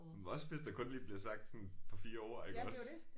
Men også hvis der kun lige er blevet sagt sådan par 4 ord iggås